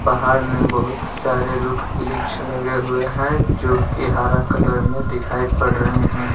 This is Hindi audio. पहाड़ में बहुत सारे रुक्ष वृक्ष लगे हुए हैं जो कि हरा कलर में दिखाई पड़ रहे हैं।